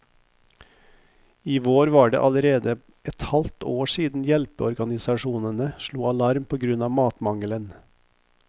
I vår var det allerede et halvt år siden hjelpeorganisasjonene slo alarm på grunn av matmangelen.